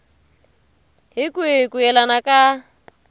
hi kwihi ku yelana ka